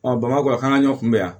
bamakɔ yan k'an ka ɲɔn kunbɛn yan